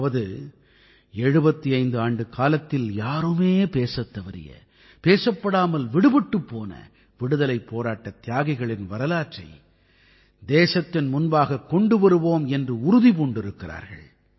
அதாவது 75 ஆண்டுக்காலத்தில் யாருமே பேசத் தவறிய பேசப்படாமல் விடுபட்டுப் போன விடுதலைப் போராட்டத் தியாகிகளின் வரலாற்றை தேசத்தின் முன்பாகக் கொண்டு வருவோம் என்று உறுதி பூண்டிருக்கிறார்கள்